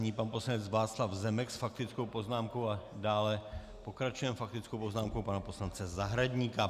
Nyní pan poslanec Václav Zemek s faktickou poznámkou a dále pokračujeme faktickou poznámkou pana poslance Zahradníka.